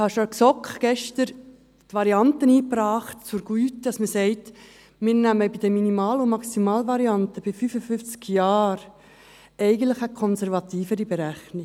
Ich habe gestern schon in der GSoK die Variante zur Güte eingebracht, wonach man sagt, dass wir bei der Minimal- und der Maximalvariante bei 55 Jahren eigentlich eine konservativere Berechnung wählen.